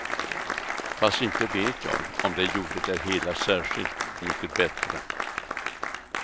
Fast inte vet jag om det gjorde det hela särskilt mycket bättre.